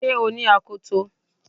Ṣé o ní akoto